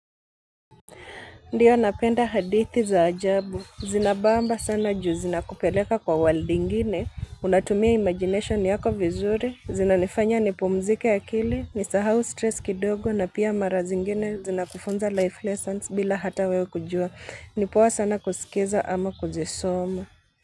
Ndiyo napenda hadithi za ajabu, zinabamba sana juu zinakupeleka kwa world nyingine, unatumia imagination yako vizuri, zinanifanya nipumzishe akili, nisahau msongo kidogo na pia mara nyingine zinakufunza mafunzo ya maisha bila hata wewe kujua. Ni poa sana kusikiza ama kuzisoma.